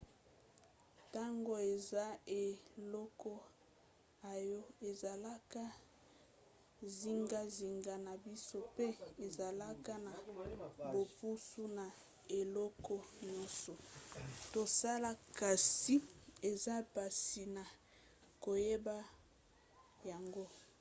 ntango eza eloko oyo ezalaka zingazinga na biso pe ezalaka na bopusi na eloko nyonso tosala kasi eza mpasi na koyeba yango